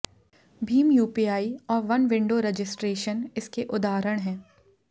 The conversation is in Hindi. भीम यूपीआई और वन विंडो रजिस्ट्रेशन इसके उदाहरण हैं